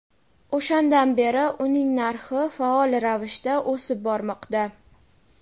O‘shandan beri uning narxi faol ravishda o‘sib bormoqda.